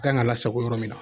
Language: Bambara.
A kan ka lasago yɔrɔ min